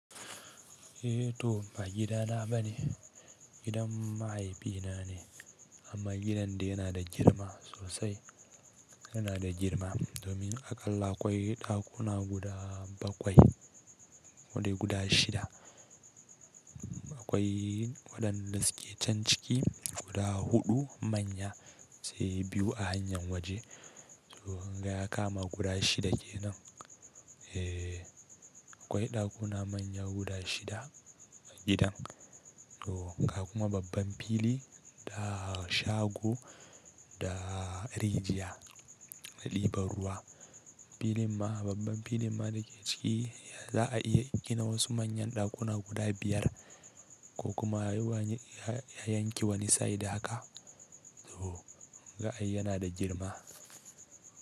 Eh to ba gida na bane, gidan mahaifina ne, amma gidan de yana da girma sosai. Yana da girma domin aƙalla akwai ɗakuna guda bakwai, kodai guda shida. Akwai waɗanda suke can ciki guda huɗu manya sai biyu a hanyar waje. To kunga ya kama guda shida kenan. Eh akwai ɗakuna manya guda shida a gidan. To haka kuma babban fili da shago da rijiya, libar ruwa. Filin ma babban filin ma da ke ciki za a iya gina wasu manyan ɗakuna guda biyar ko kuma a yi wani, a yanke wani side haka. To haka ai yana da girma.